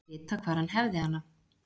Vita hvar hann hefði hana.